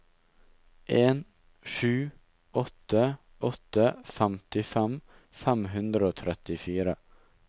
en sju åtte åtte femtifem fem hundre og trettifire